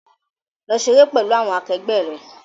Lọ ṣeré pẹ̀lú àwọn akẹgbẹ́ rẹ!